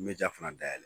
N bɛ ja fana dayɛlɛ